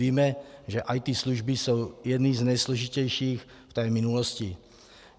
Víme, že IT služby jsou jedny z nejsložitějších v té minulosti.